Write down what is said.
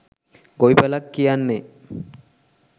ගොවිපලක් කියන්නෙ